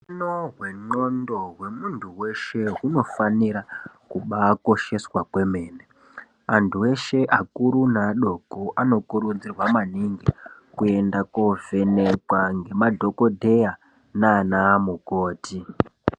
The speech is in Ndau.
Hutano hwendxondo hwemuntu veshe hunofanira kubakosheswa kwemene. Antu eshe akuru neadoko anokurudzirwa maningi koenda kovhenekwa ngemadhogodheya nana mukoti.